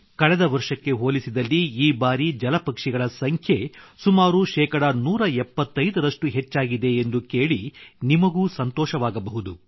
ಕಳೆದ ವರ್ಷಕ್ಕೆ ಹೋಲಿಸಿದಲ್ಲಿ ಈ ಬಾರಿ ಜಲಪಕ್ಷಿಗಳ ಸಂಖ್ಯೆ ಸುಮಾರು ಶೇ 175 ರಷ್ಟು ಹೆಚ್ಚಾಗಿದೆ ಎಂದು ಕೇಳಿ ನಿಮಗೂ ಸಂತೋಷವಾಗಬಹುದು